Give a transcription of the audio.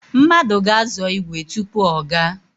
Mmadụ ga-azọ ígwè tupu ọ gaa.